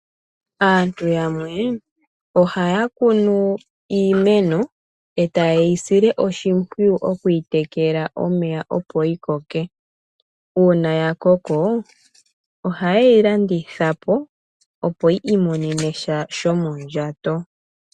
Aantu yamwe ohaya sile iimeno oshimpwiyu, moku yi tekela omeya opo yi koke. Uuna ya koko, ohaye yi landitha po, opo yi omonene mo sha shomondjato.